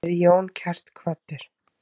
Veri Jón kært kvaddur.